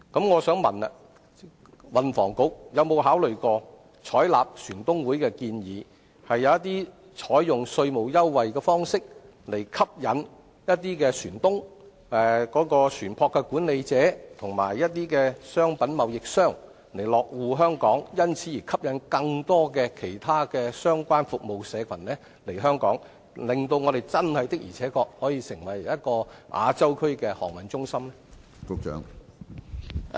我想問，運輸及房屋局有否考慮採納香港船東會的建議，透過稅務優惠，吸引一些船東、船舶管理者及商品貿易商落戶香港，從而吸引更多其他相關服務社群來香港，令本港可以確實成為亞洲區的航運中心？